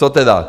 Co tedy?